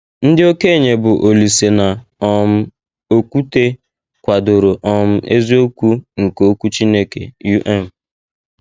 Ndị okenye bụ́ Olise na um Okwute kwadoro um eziokwu nke Okwu Chineke. um